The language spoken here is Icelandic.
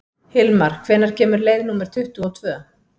Hilmar, hvenær kemur leið númer tuttugu og tvö?